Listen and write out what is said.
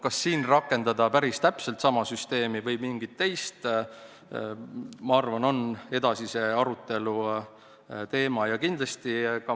Kas siin rakendada päris täpselt sama süsteemi või mingit teist, on minu arvates edasise arutelu teema.